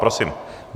Prosím.